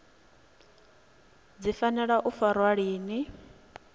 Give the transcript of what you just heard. dzi fanela u farwa lini